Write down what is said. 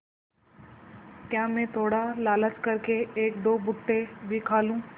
क्या मैं थोड़ा लालच कर के एकदो भुट्टे भी खा लूँ